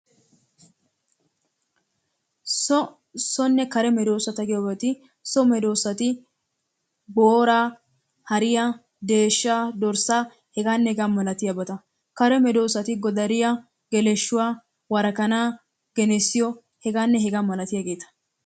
So, sonne kare medoosata giyoogeeti so medoosati booraa, hariyaa, deeshaa, dorssaa hegaanne hega malatiyaabata. Kare medoosati godariya, geleshuwa, wora-kanaa genessiyo hegaanne hegaa malattiyageeta.